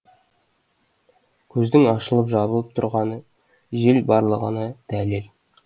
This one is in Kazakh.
көздің ашылып жабылып тұрғаны жел барлығына дәлел